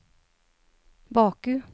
Baku